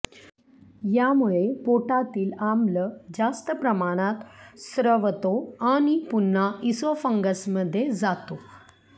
यामुळे पोटातील आम्ल जास्त प्रमाणात स्रवतो आणि पुन्हा इसोफंगसमध्ये जातो